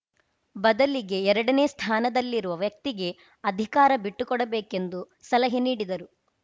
ಬದಲಿಗೆ ಎರಡನೇ ಸ್ಥಾನದಲ್ಲಿರುವ ವ್ಯಕ್ತಿಗೆ ಅಧಿಕಾರ ಬಿಟ್ಟುಕೊಡಬೇಕೆಂದು ಸಲಹೆ ನೀಡಿದರು